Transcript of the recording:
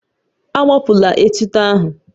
Agbapụla etuto ahụ